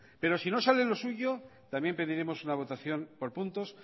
pero si no sale lo suyo también pediremos una votación por puntos